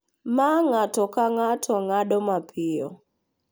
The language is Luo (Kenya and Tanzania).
ma ng’ato ka ng’ato ng’ado mapiyo